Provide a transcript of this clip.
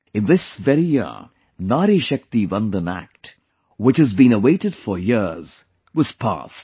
In this very year, 'Nari Shakti Vandan Act', which has been awaited for years was passed